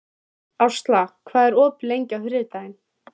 Ásla, hvað er opið lengi á þriðjudaginn?